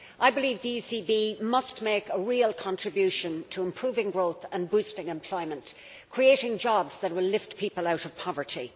I believe the ECB must make a real contribution to improving growth and boosting employment, creating jobs that will lift people out of poverty.